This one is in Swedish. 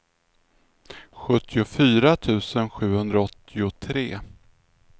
sjuttiofyra tusen sjuhundraåttiotre